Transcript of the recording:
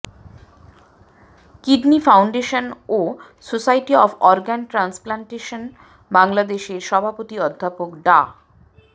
kidney foundation ও society of organ transplantation বাংলাদেশের সভাপতি অধ্যাপক ডা